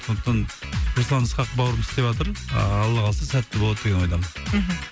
сондықтан руслан ысқақ бауырымыз істеватыр ыыы алла қаласа сәтті болады деген ойдамын мхм